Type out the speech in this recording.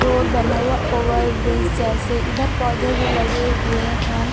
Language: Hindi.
रोड बना हुआ ओवर ब्रिज जैसे इधर पौधे भी लगे हुए हैं।